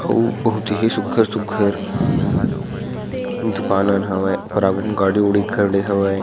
अऊ बहुत ही सुघर-सुघर दूकान उन हवय ओकर आघू में गाड़ी उड़ी खड़े हवय।